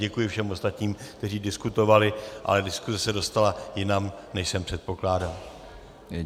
Děkuji všem ostatním, kteří diskutovali, ale diskuse se dostala jinam, než jsem předpokládal.